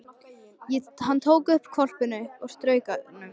Hann tók hvolpinn upp og strauk honum.